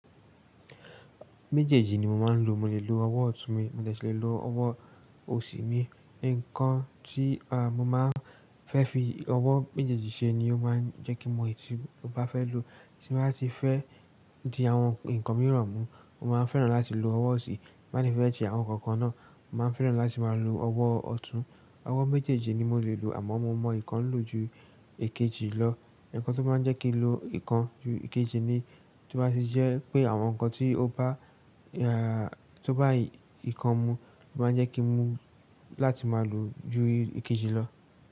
Méjèèjì ni mo máa ń lo. Mo lè lo ọwọ́ ọ̀tún mi, mo de si lè lo ọwọ́ òsì mi. Nǹkan tí, a, mo máa ń fẹ́ fi ọwọ́ méjèèjì ṣe ni ó máa ń jẹ́ kí n mo, eyi tí mo bá fẹ́ lò. Tí mo bá ti fẹ́ di àwọn nǹkan mìíràn mú, mo máa ń fẹ́ràn láti lo ọwọ́ òsì. N bá de ti fẹ́ se àwọn nǹkan kan náà, mo máa ń fẹ́ràn láti máa lo ọwọ́ ọ̀tún. Ọwọ́ méjèèjì ni mo lè lò àmọ́ mo mọ ìkan lò ju èkejì lọ. Nkan tó maa n jẹ́ kí n lo ìkan ju èkejì ni tí ó bá ti jẹ́ pé àwọn nǹkan tí ó bá, a, tó bá ìkan mú, ó máa ń jẹ́ kí n mu láti máa lò ju èkejì lọ.